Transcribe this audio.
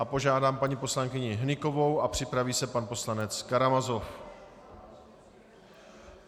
A požádám paní poslankyni Hnykovou a připraví se pan poslanec Karamazov.